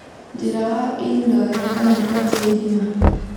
Njĩra wa Indore kana kwenja irima